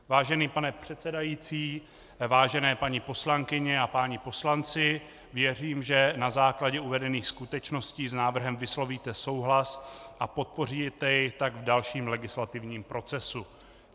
Vážený pane předsedající, vážené paní poslankyně a páni poslanci, věřím, že na základě uvedených skutečností s návrhem vyslovíte souhlas a podpoříte jej tak v dalším legislativním procesu.